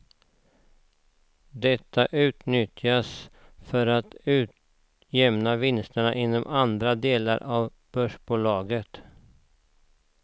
Detta utnyttjas för att utjämna vinster inom andra delar av börsbolaget.